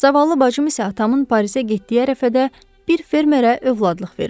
Zaval bacım isə atamın Parisə getdiyi ərəfədə bir fermerə övladlıq verilib.